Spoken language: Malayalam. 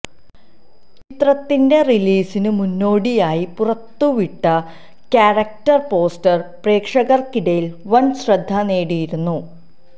ചിത്രത്തിന്റെ റിലീസിന് മുന്നോടിയായി പുറത്തു വിട്ട് ക്യാരക്ടർ പോസ്റ്റർ പ്രേക്ഷകർക്കിടയിൽ വൻ ശ്രദ്ധ നേടിയിരുന്നു